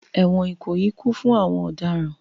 Ẹ̀wọ̀n Ikoyi kún fún àwọn ọ̀daràn